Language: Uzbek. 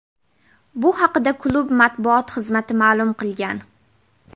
Bu haqda klub matbuot xizmati ma’lum qilgan .